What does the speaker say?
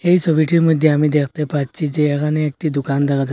এই সবিটির মইধ্যে আমি দেখতে পাচ্চি যে এহানে একটি দোকান দেখা যায়।